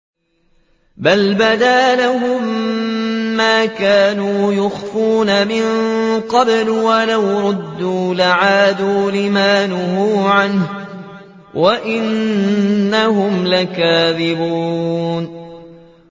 بَلْ بَدَا لَهُم مَّا كَانُوا يُخْفُونَ مِن قَبْلُ ۖ وَلَوْ رُدُّوا لَعَادُوا لِمَا نُهُوا عَنْهُ وَإِنَّهُمْ لَكَاذِبُونَ